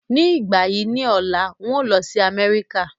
Ní ìgbà yí ọ̀la ń o lọ sí Amẹ́ríkà